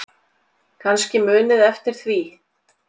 Kannski munið eftir því.